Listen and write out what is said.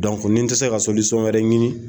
ni n tɛ se ka wɛrɛ ɲini